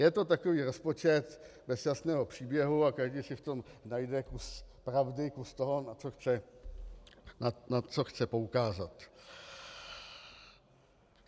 Je to takový rozpočet bez jasného příběhu a každý si v tom najde kus pravdy, kus toho, na co chce poukázat.